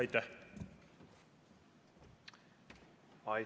Aitäh!